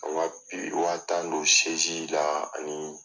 Wa tan don la ani.